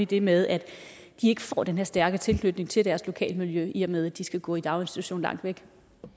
det med at de ikke får den her stærke tilknytning til deres lokalmiljø i og med at de skal gå i daginstitution langt væk